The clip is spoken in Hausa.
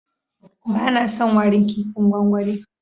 Bana son warin kipin gwangwani.